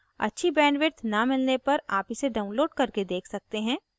अच्छी bandwidth न मिलने पर आप इसे download करके देख सकते हैं